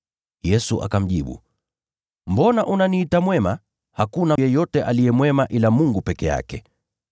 Yesu akamjibu, “Mbona unaniita mwema? Hakuna yeyote aliye mwema ila Mungu peke yake.